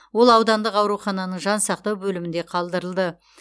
ол аудандық аурухананың жансақтау бөлімінде қалдырылды